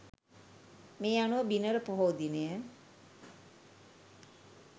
මේ අනුව බිනර පොහෝ දිනය